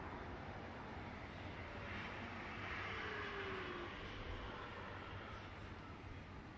Ölkənin dağlıq rayonlarında yağan leysan xarakterli yağışlar, şimşəklər, dolu müşayiət olunub.